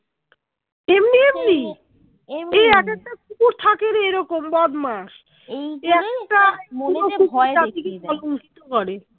তেমনি এমনি একটা কুকুর থাকে রে এরকম বদমাস করে